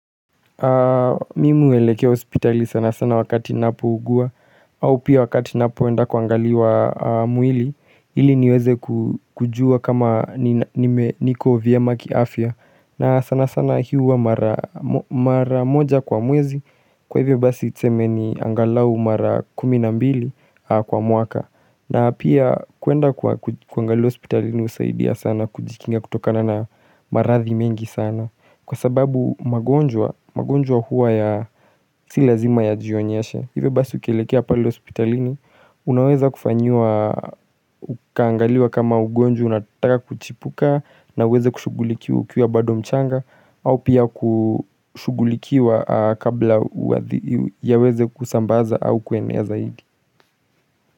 Mimi huelekea hospitali sana sana wakati ninapo ugua au pia wakati ninapo enda kuangaliwa mwili ili niweze kujua kama niko vyema kiafya na sana sana hii huwa mara moja kwa mwezi Kwa hivyo basi tuseme ni angalau mara kuminambili kwa mwaka na pia kuenda kuangaliwa hospitali husaidia sana kujikinga kutokana na maradhi mengi sana Kwa sababu magonjwa huwa ya silazima ya jionyeshe Hivyo basi ukielekea pale hospitalini Unaweza kufanyiwa, ukaangaliwa kama ugonjwa unataka kuchipuka na uweze kushughulikiwa ukiwa badomchanga au pia kushugulikiwa kabla ya weze kusambaza au kuenea zaidi.